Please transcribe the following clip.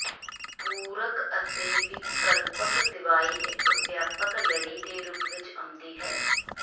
ਪੂਰਕ ਅਤੇ ਵਿਕਲਪਕ ਦਵਾਈ ਇੱਕ ਵਿਆਪਕ ਲੜੀ ਦੇ ਰੂਪਾਂ ਵਿੱਚ ਆਉਂਦੀ ਹੈ